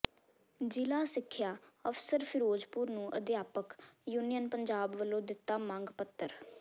ਜ਼ਿਲ੍ਹਾ ਸਿੱਖਿਆ ਅਫ਼ਸਰ ਫਿਰੋਜ਼ਪੁਰ ਨੂੰ ਅਧਿਆਪਕ ਯੂਨੀਅਨ ਪੰਜਾਬ ਵੱਲੋਂ ਦਿੱਤਾ ਮੰਗ ਪੱਤਰ